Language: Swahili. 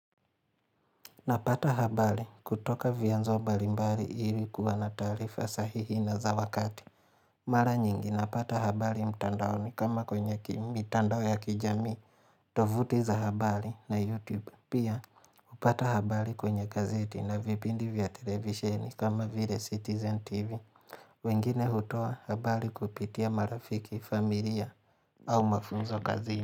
Napata habari kutoka vyanzo mbalimbali ili kuwa na taarifa sahihi na za wakati Mara nyingi napata habari mtandaoni kama kwenye kimi mitandao ya kijamii tovuti za habari na youtube. Pia hupata habari kwenye gazeti na vipindi vya televisheni kama vile citizen tv wengine hutoa habari kupitia marafiki, familia au mafunzo kazini.